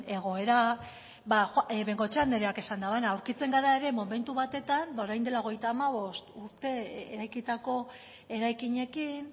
egoera bengoechea andreak esan duena aurkitzen gara ere momentu batetan ba orain dela hogeita hamabost urte eraikitako eraikinekin